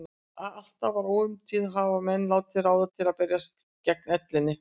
Allt frá ómunatíð hafa menn leitað ráða til að berjast gegn ellinni.